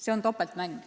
See on topeltmäng.